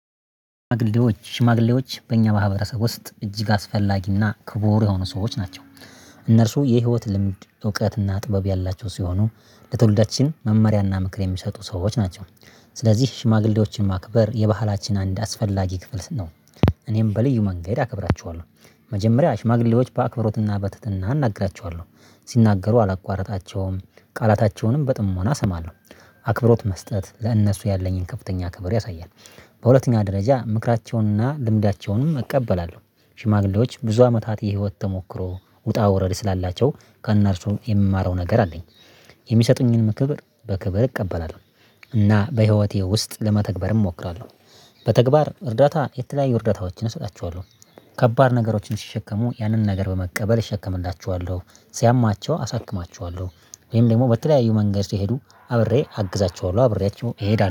ሽማግሌዎች በእኛ በማህበረሰብ ውስጥ እጅግ አስፈላጊና ክቡር የሆኑ ሰዎች ናቸው። እነርሱ የህይወት ልምድ እውቀትና ጥበብ ያላቸው ሲሆኑ ለትውልዳችን መመሪያና ምክር የሚሰጡ ሰዎች ናቸው። ስለዚህ ሽማግሌዎችን ማክበር የባህላችን አንድ አስፈላጊ ክፍል ስ ነው። እኔም በልዩ መንገድ አከብራቸዋለሁ። መጀመሪያ ሽማግሌዎች በአክብሮትና በትህትና አና ግራቸዋለሁ ሲናገሩ አላቋርጣቸውም ቃላታቸውንም በጥሞና እሰማለሁ። አክብሮት መስጠት ለእነሱ ያለኝን ከፍተኛ ክብር ያሳያል። በሁለተኛ ደረጃ ምክራቸውንና ልምዳቸውንም እቀበላለሁ። ሽማግሌዎች ብዙ አመታት የህይወት ተሞክሮ ውጣ ውረድ ስላላቸው ከእነርሱ የምማረው ነገር አለኝ። የሚሰጡኝንም ክብር በክብር እቀበላለሁ። እና በህይወቴ ውስጥ ለመተግበርም እሞክራለሁ። በተግባር እርዳታ የተለያዩ እርዳታዎችን እሰጣቸዋለሁ። ከባድ ነገሮችን ሲሸከሙ ያንን ነገር በመቀበል እሸከምላቸዋለሁ ሲያማቸው አሳክማቸዋለሁ። ወይም ደግሞ በተለያዩ መንገድ ሲሄዱ አብሬ አግዛቸዋለሁ አብሬያቸው እሄዳለሁ